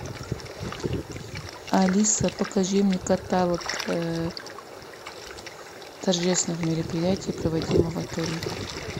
алиса покажи мне каталог торжественных мероприятий проводимых в отеле